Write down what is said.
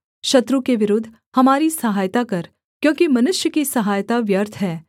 शत्रु के विरुद्ध हमारी सहायता कर क्योंकि मनुष्य की सहायता व्यर्थ है